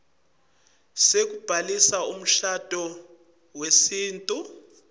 sekubhalisa umshado wesintfu